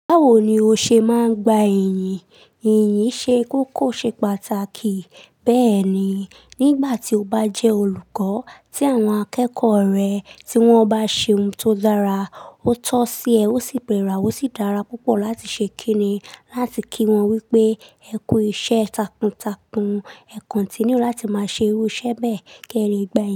Báwo ni o ṣe máa ń gba ìyìn? Ìyìn ṣe kókó ṣe pàtàkì. Bẹ́ẹ̀ni, nígbà tí o bá jẹ́ olùkọ́, tí àwọn akẹ́kọ̀ọ́ rẹ tí wọ́n bá ṣe ohun tó dára, ó tọ́ sí ẹ, ó sì péra, ó sì dára púpọ̀ láti ṣe kíni láti kí wọn wípé "ẹkù iṣẹ́ takuntakun, ẹ continue láti máa ṣe irú iṣẹ́ bẹ́ẹ̀ kẹ́rẹ̀ gba ìyìn."